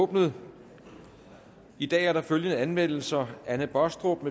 åbnet i dag er der følgende anmeldelser anne baastrup